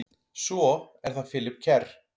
Svo er það Philip Kerr.